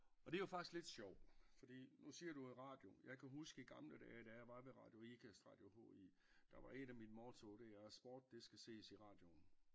Og det jo faktisk lidt sjov fordi nu siger du i radioen jeg kan huske i gamle dage da jeg var ved radio Ikast radio H I der var et af mine motto det er sport det skal ses i radioen